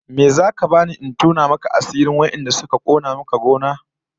Me zaka bani in tona maka asirin wadanda suka kona maka gona?